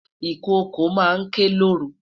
Ikoko ma n ke loru